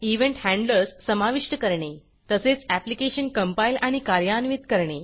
event handlers समाविष्ट करणे तसेच ऍप्लिकेशन कंपाईल आणि कार्यान्वित करणे